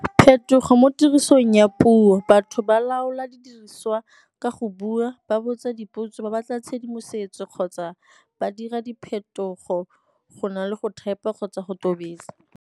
Phetogo mo tirisong ya puo, batho ba laola di diriswa ka go bua, ba botsa dipotso, ba batla tshedimosetso kgotsa ba dira diphetogo go na le go type-a kgotsa go tobetsa.